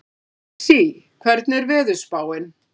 Lexí, hvernig er veðurspáin?